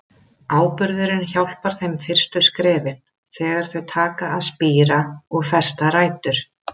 Áburðurinn hjálpar þeim fyrstu skrefin, þegar þau taka að spíra og festa rætur.